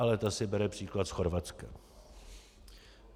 Ale ta si bere příklad z Chorvatska.